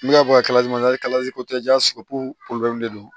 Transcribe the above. N'u y'a bɔ kalali ma kalasi ko tɛ ja de do